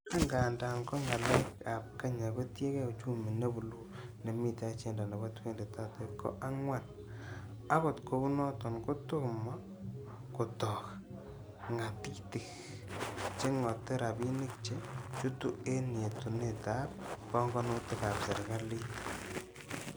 Angandan ko ngalek ab kenya, kotienge uchumi ne buluu, nemiten ajenda nebo 2030 ko angwan, akot kounoton kotomo kotok ngatitik chengote rabinik che chutu en yetunetab pongonutik ab serkalit.